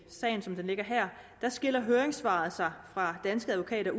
sagen som den ligger her skiller høringssvaret fra danske advokater